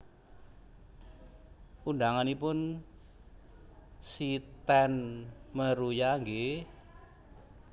Undanganipun si ten Meruya nggih